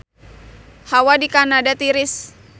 Hawa di Kanada tiris